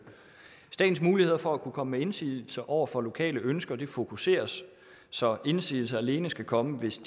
statens muligheder for at kunne komme med indsigelser over for lokale ønsker fokuseres så indsigelser alene skal komme hvis